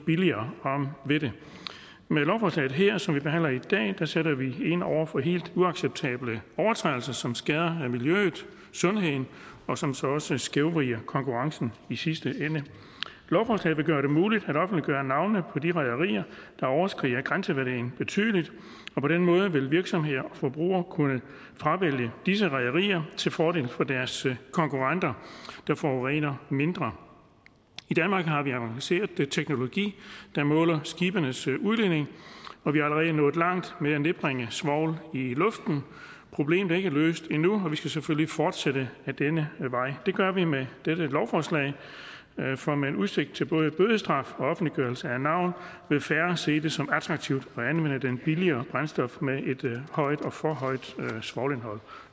billigere om ved det med lovforslaget her som vi behandler i dag sætter vi ind over for helt uacceptable overtrædelser som skader miljøet og sundheden og som så også skævvrider konkurrencen i sidste ende lovforslaget vil gøre det muligt at på de rederier der overskrider grænseværdien betydeligt og på den måde vil virksomheder og forbrugere kunne fravælge disse rederier til fordel for deres konkurrenter der forurener mindre i danmark har vi jo avanceret teknologi der måler skibenes udledning og vi er allerede nået langt med at nedbringe svovl i luften problemet er ikke løst endnu og vi skal selvfølgelig fortsætte ad denne vej det gør vi med dette lovforslag for med udsigt til både bødestraf og offentliggørelse af navn vil færre se det som attraktivt at billigere brændstof med et højt og for højt svovlindhold